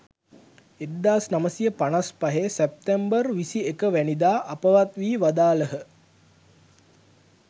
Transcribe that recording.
1955 September 21 වැනිදා අපවත්වී වදාළහ.